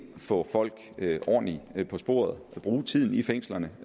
få folk ordentligt på sporet bruge tiden i fængslerne